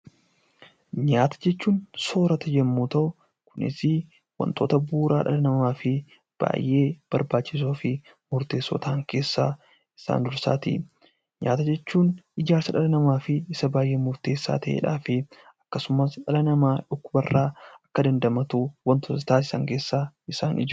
Nyaata jechuun soorata yemmuu ta'u kunis waantota bu'uuraa dhala namaafi baay'ee barbaachisoofi murteessoo ta'an keessaa isaan dursaati. Nyaata jechuun ijaarsa dhala namaaf isa baay'ee murteessaa ta'eedhaafi akkasumas dhala namaa dhukkuba irra akka dandamatu wantoota taasisan keessaa isaan ijoodha.